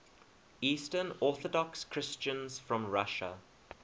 eastern orthodox christians from russia